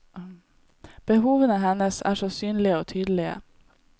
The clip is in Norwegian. Behovene hennes er så synlige og tydelige.